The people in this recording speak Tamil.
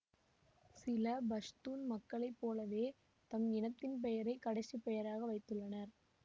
சில பஷ்தூன் மக்களை போலவே தம் இனத்தின் பெயரை கடைசிப் பெயராக வைத்துள்ளன